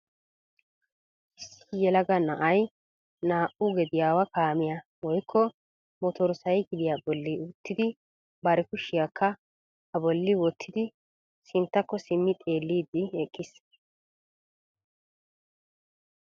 Issi yelaga na'ay naa"u gediyawa kaamiya woykko Motor sykkiliya bolli uttidi bar kushiyaakka a bolli wottidi sinttakko simmi xeellidi eqqiis.